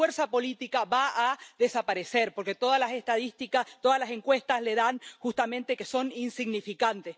su fuerza política va a desaparecer, porque todas las estadísticas, todas las encuestas, dicen justamente que son insignificantes.